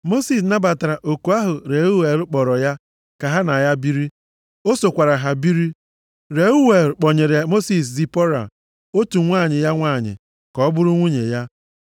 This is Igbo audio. Mosis nabatara oku ahụ Reuel kpọrọ ya ka ha na ya biri. O sokwara ha biri. Reuel kpọnyere Mosis Zipọra, otu nwa ya nwanyị, ka ọ bụrụ nwunye ya.